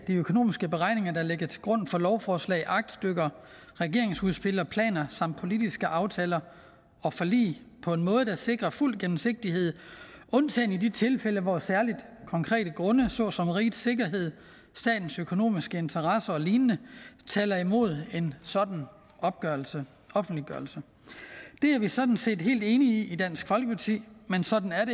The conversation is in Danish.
økonomiske beregninger der ligger til grund for lovforslag aktstykker regeringsudspil og planer samt politiske aftaler og forlig på en måde der sikrer fuld gennemsigtighed undtagen i de tilfælde hvor særlige konkrete grunde såsom rigets sikkerhed statens økonomiske interesser og lignende taler imod en sådan offentliggørelse det er vi sådan set helt enige i i dansk folkeparti men sådan er